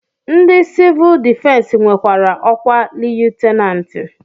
Ndị sivuul difensi nwekwara ọkwa liyutenanti